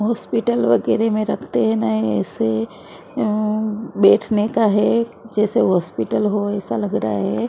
Hospital बगैरह में रखते है ना ऐसे अम्म बैठने का है जैसे हॉस्पिटल हो ऐसा लग रहा है ।